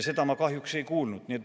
Seda ma kahjuks ei kuulnud.